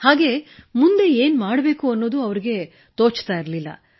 ಹಾಗೂ ಮುಂದೇನು ಮಾಡಬೇಕೆಂಬುದೇ ತೋಚುತ್ತಿರಲಿಲ್ಲ